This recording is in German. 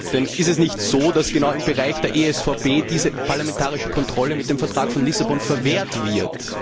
Denn ist es nicht so, dass genau im Bereich der ESVP diese parlamentarische Kontrolle mit dem Vertrag von Lissabon verwehrt wird?